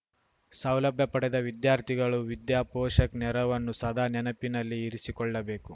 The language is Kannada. ಸೌಲಭ್ಯ ಪಡೆದ ವಿದ್ಯಾರ್ಥಿಗಳು ವಿದ್ಯಾಪೋಷಕ್‌ ನೆರವನ್ನು ಸದಾ ನೆನಪಿನಲ್ಲಿ ಇರಿಸಿಕೊಳ್ಳಬೇಕು